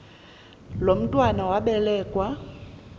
lo mntwana wabelekua